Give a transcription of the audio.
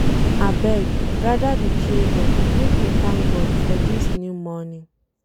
Abeg, gada di children make we thank God for dis new morning.